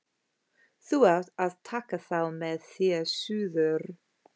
Þú átt að taka þá með þér suður